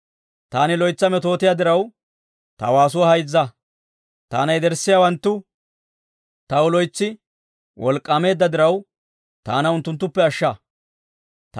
Taani loytsa metootiyaa diraw, ta waasuwaa hayzza. Taana yederssiyaawanttu, taw loytsi wolk'k'aameedda diraw, taana unttunttuppe ashsha.